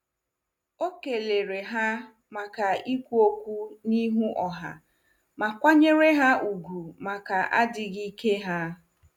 O kelere ha maka ikwu okwu n'ihu ọha ma kwanyere ha ùgwù maka adịghị ike ha.